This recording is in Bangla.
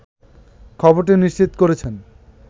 খবরটি নিশ্চিত করেছেন